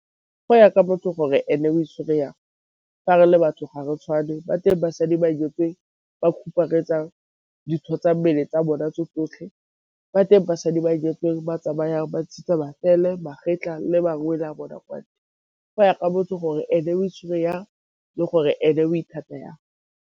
Go ya ka motho gore e ne o itshwere jang, fa re le batho ga re tshwane ba teng basadi ba nyetsweng ba dintho tsa mmele tsa bona tse tsotlhe. Ba teng basadi ba nyetsweng ba tsamayang ba ntshitse matsele, magetla le mangwele a bona kwa ntle. Go ya ka motho gore e ne o itshwere jang le gore e ne o ithata jang.